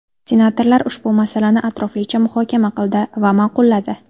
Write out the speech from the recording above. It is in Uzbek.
Senatorlar ushbu masalani atroflicha muhokama qildi va ma’qulladi.